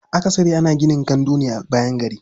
Akasari ana gina gandu ne a bayan gari.